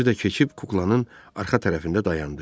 Özü də keçib kuklanın arxa tərəfində dayandı.